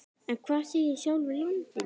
En hvað segir sjálfur landinn?